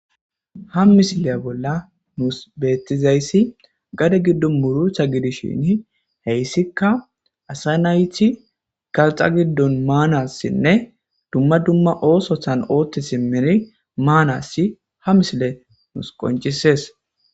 Ha misileya bolla nus betizayssi gade giddon murutta giddishin hessikka asa naytti kalxxa giddon manassinne dumma dumma osota oththi simidi manas ha misiley qonccisses.